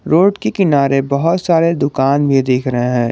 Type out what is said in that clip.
Road के किनारे बहोत सारे दुकान भी दिख रहे हैं।